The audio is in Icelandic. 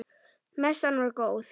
Messan var góð.